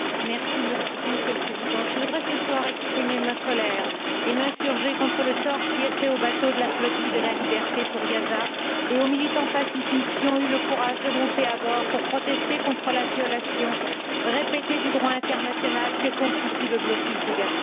Monsieur le Président, je voudrais ce soir exprimer ma colère et m'insurger contre le sort qui est réservé aux bateaux de la flotille de la liberté pour Gaza et aux militants pacifistes qui ont eu le courage de monter à bord pour protester contre la violation répétée du droit international que constitue le blocus de Gaza.